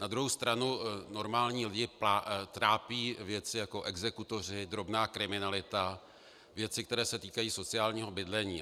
Na druhou stranu normální lidi trápí věci jako exekutoři, drobná kriminalita, věci, které se týkají sociálního bydlení.